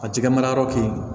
A jɛgɛ mara yɔrɔ keyi